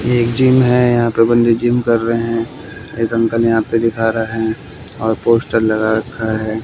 ये एक जिम है। यहां पर बंदे जिम कर रहे हैं। एक अंकल यहां पे दिख रहा है और पोस्टर लगा रखा है।